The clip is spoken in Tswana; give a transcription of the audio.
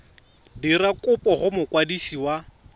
dira kopo go mokwadisi wa